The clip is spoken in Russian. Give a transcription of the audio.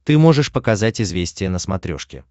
ты можешь показать известия на смотрешке